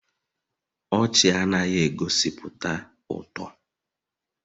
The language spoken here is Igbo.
Ọchị anaghị egosipụta ụtọ